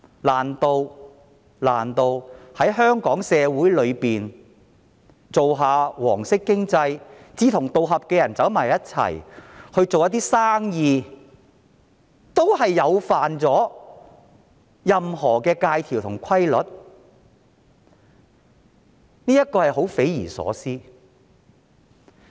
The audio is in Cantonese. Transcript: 難道在香港社會裏，經營"黃色經濟"，志同道合的人相聚合作做生意，也觸犯了任何的戒條和規律？